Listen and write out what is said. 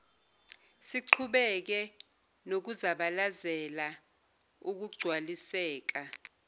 siqhubeke nokuzabalazela ukugcwaliseka